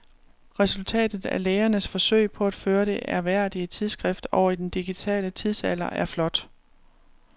Resultatet af lægernes forsøg på at føre det ærværdige tidsskrift over i den digitale tidsalder er flot.